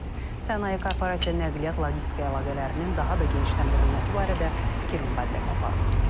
Sənaye, korporasiya, nəqliyyat, logistika əlaqələrinin daha da genişləndirilməsi barədə fikir mübadiləsi aparılıb.